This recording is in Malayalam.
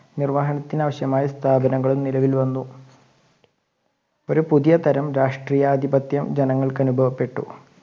നിര്‍വ്വഹണത്തിന് ആവശ്യമായ സ്ഥാപിതകങ്ങളും നിലവിൽ വന്നു ഒരു പുതിയ തരം രാഷ്ട്രീയാധിപത്യം ജനങ്ങൾക്ക് അനുഭവപ്പെട്ടു